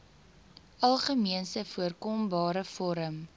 algemeenste voorkombare vorm